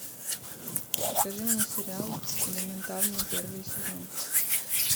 покажи мне сериал элементарно первый сезон